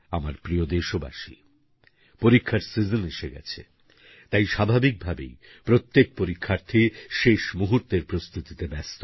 আমার প্রিয় দেশবাসী পরীক্ষারসিজন এসে গেছে তাই স্বাভাবিকভাবেই প্রত্যেক পরীক্ষার্থী শেষ মুহূর্তের প্রস্তুতিতে ব্যস্ত